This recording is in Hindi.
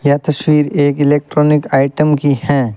यह तस्वीर एक इलेक्ट्रॉनिक आइटम की हैं।